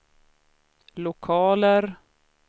lokaler